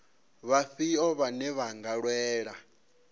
vhafhio vhane vha nga lwela